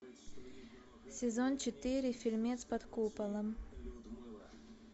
сезон четыре фильмец под куполом